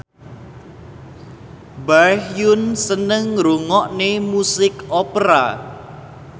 Baekhyun seneng ngrungokne musik opera